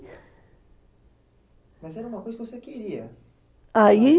Mas era uma coisa que você queria. Aí